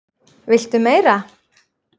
VILTU MEIRA?